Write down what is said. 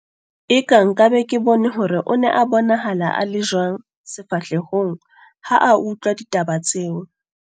Eka nka be ke bone hore o ne a bonahala a le jwang sefahlehong ha a utlwa ditaba tseo.